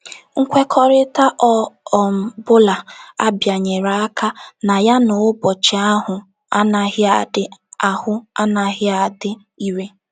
Nkwekọrịta ọ um bụla a bịanyere aka na ya n’ụbọchị ahụ anaghị adị ahụ anaghị adị irè.